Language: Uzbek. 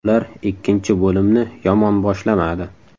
Ular ikkinchi bo‘limni yomon boshlamadi.